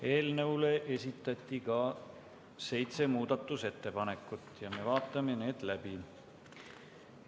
Eelnõu kohta esitati seitse muudatusettepanekut ja me vaatame need läbi.